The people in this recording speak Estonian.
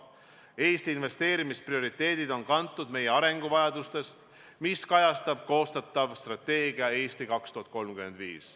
Eesti investeerimisprioriteedid on kantud meie arenguvajadusest, mida kajastab koostatav strateegia "Eesti 2035".